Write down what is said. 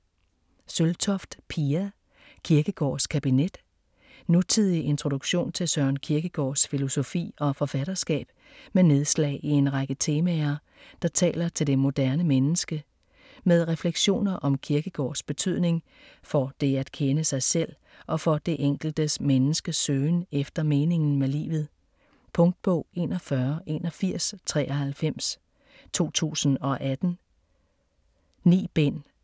Søltoft, Pia: Kierkegaards kabinet Nutidig introduktion til Søren Kierkegaards filosofi og forfatterskab med nedslag i en række temaer der taler til det moderne menneske. Med refleksioner om Kierkegaards betydning for det at kende sig selv og for det enkeltes menneskes søgen efter meningen med livet. Punktbog 418193 2018. 9 bind.